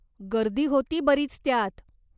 गर्दी होती बरीच त्यात.